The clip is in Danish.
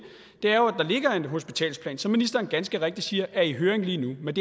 er en hospitalsplan som ministeren ganske rigtigt siger er i høring lige nu men